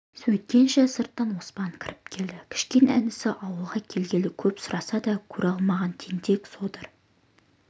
сөйткенше сырттан оспан кіріп келді кішкене інісі ауылға келгелі көп сұраса да көре алмаған тентек содыр